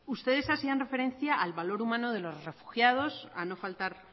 ustedes hacían referencia al valor humano de los refugiados a no faltar